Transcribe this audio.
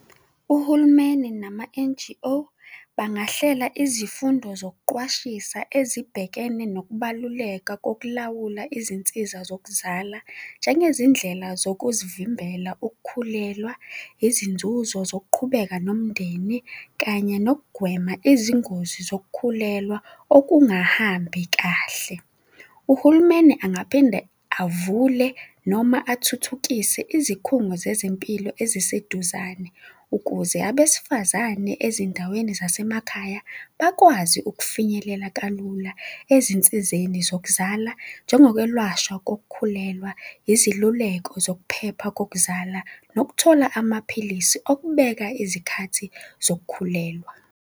Uhulumeni nama-N_G_O bangahlela izifundo zokuqwashisa ezibhekene nokubaluleka kokulawula izinsiza zokuzala, njengezindlela zokuzivimbela ukukhulelwa, izinzuzo zokuqhubeka nomndeni kanye nokugwema izingozi zokukhulelwa okungahambi kahle. Uhulumeni angaphinde avule noma athuthukise izikhungo zezempilo eziseduzane ukuze abesifazane, ezindaweni zasemakhaya, bakwazi ukufinyelela kalula ezinsizeni zokuzala, njengokwelashwa kokukhulelwa iziluleko zokuphepha kokuzala nokuthola amaphilisi okubeka izikhathi zokukhulelwa.